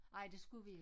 Ej det skulle vi ikke